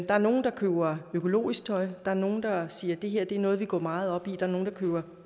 er nogle der køber økologisk tøj er nogle der siger at det er noget de går meget op i der er nogle der køber